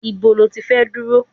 Níbo ló ti fẹ́ dúró?